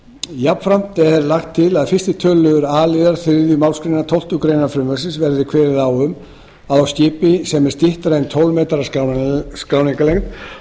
jafnframt er lagt til að í fyrsta tölulið a liðar þriðju málsgrein tólftu greinar frumvarpsins verði kveðið á um að á skipi sem er styttra en tólf metrar að skráningarlengd